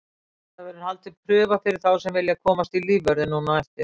Það verður haldin prufa fyrir þá sem vilja komast í lífvörðinn núna á eftir.